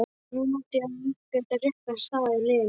Núna átti ég að hafa uppgötvað rétta staðinn í lífinu.